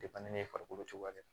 ne farikolo cogoya dɛ